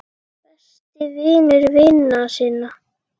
Besti vinur vina sinna.